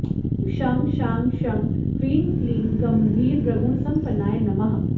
ॐ शं शां षं ह्रीं क्लीं गम्भीरगुणसम्पन्नाय नमः